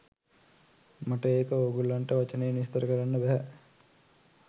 මට ඒක ඕගොල්ලන්ට වචනයෙන් විස්තර කරන්න බැහැ.